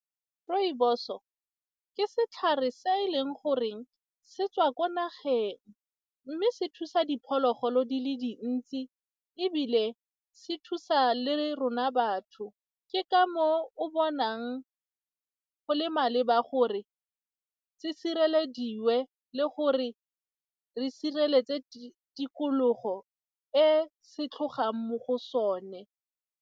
Rooibos-o ka setlhare se e leng goreng se tswa kwa nageng mme se thusa diphologolo di le dintsi ebile se thusa le rona batho, ke ka moo o bonang go le maleba gore se sirelediwe le gore re sireletse tikologo e se tlhogang mo go sone.